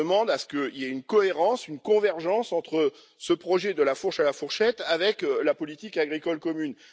Je demande à ce qu'il y ait une cohérence, une convergence entre ce projet de la fourche à la fourchette et la politique agricole commune.